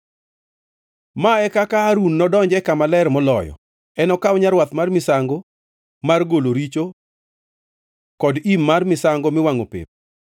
“Ma e kaka Harun nodonj e Kama Ler Moloyo: Enokaw nyarwath mar misango mar golo richo kod im mar misango miwangʼo pep.